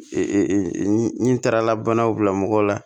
ni n taara banaw bila mɔgɔw la